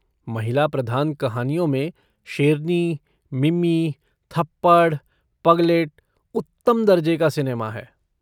महिला प्रधान कहानियों में शेरनी, मिमी, थप्पड़, पगलेट उत्तम दर्जे का सिनेमा है।